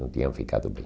Não tinham ficado bem.